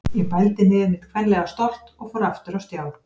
Ég bældi niður mitt kvenlega stolt og fór aftur á stjá.